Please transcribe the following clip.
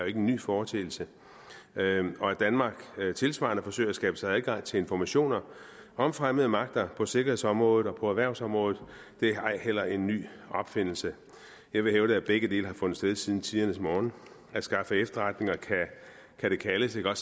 ikke en ny foreteelse og at danmark tilsvarende forsøger at skabe sig adgang til informationer om fremmede magter på sikkerhedsområdet og på erhvervsområdet er jo ej heller en ny opfindelse jeg vil hævde at begge dele har fundet sted siden tidernes morgen at skaffe efterretninger kan det kaldes eller